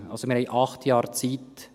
Wir haben also acht Jahre Zeit.